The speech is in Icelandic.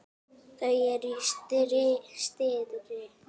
Þau eru stirð.